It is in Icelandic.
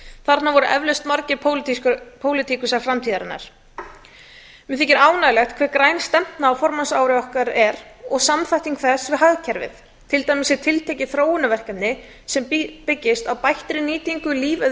þarna voru eflaust margir pólitíkusar framtíðarinnar mér þykir ánægjulegt hve græn stefna á formannsári okkar er og samþætting þess við hagkerfið til dæmis er tiltekið þróunarverkefni sem byggist á bættri nýtingu